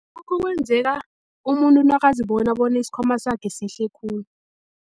Lokhu kwenzeka umuntu nakazibona bona isikhwama sakhe sihle khulu.